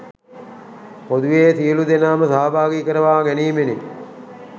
පොදුවේ සියලු දෙනාම සහභාගි කරවා ගැනීමෙනි.